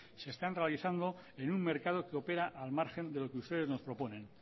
se están realizando en un mercado que opera al margen de lo que ustedes nos proponen